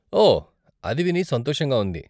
ఓ, అది విని సంతోషంగా ఉంది.